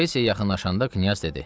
Kutaisiyə yaxınlaşanda Knyaz dedi: